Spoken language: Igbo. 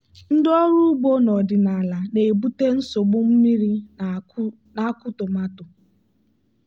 ndị ọrụ ugbo n'ọdịnala na-ebute nsogbu mmiri na-akụ tomato.